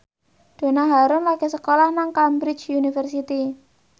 Donna Harun lagi sekolah nang Cambridge University